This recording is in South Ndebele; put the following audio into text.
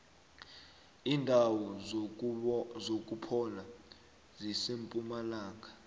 indawo zokuphola zisempumalanga